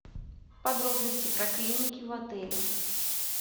подробности про клиники в отеле